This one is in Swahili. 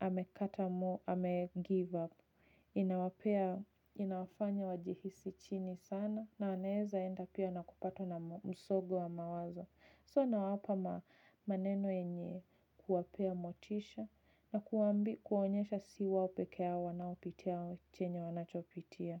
amekata moyo, amegive up inawapea inawafanya wajihisi chini sana na wanaweza enda pia na kupatwa na msongo wa mawazo. So nawapa maneno yenye kuwapea motisha na kuwaonyesha si wao peke yao wanaopitia chenye wanachopitia.